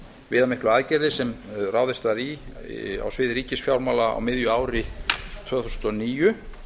viðamiklu aðgerðir sem ráðist var í á sviði ríkisfjármála á miðju ári tvö þúsund og níu